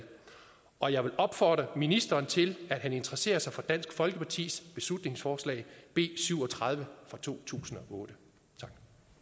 og jeg vil opfordre ministeren til at han interesserer sig for dansk folkepartis beslutningsforslag b syv og tredive fra to tusind og otte tak